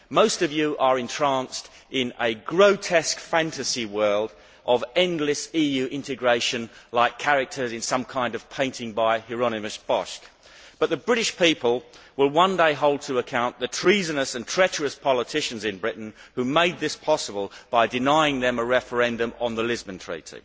Most of you are entranced in a grotesque fantasy world of endless EU integration, like characters in some kind of painting by Hieronymus Bosch, but the British people will one day hold to account the treasonous and treacherous politicians in Britain who made this possible by denying them a referendum on the Lisbon Treaty.